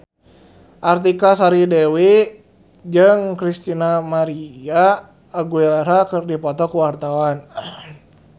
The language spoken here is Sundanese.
Artika Sari Devi jeung Christina María Aguilera keur dipoto ku wartawan